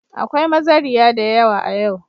Akwai mazariya da yawa a yau.